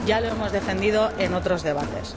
Ya lo hemos defendido en otros debates.